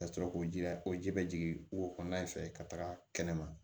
Ka sɔrɔ k'o jija o ji bɛ jigin wo kɔnɔna in fɛ ka taga kɛnɛma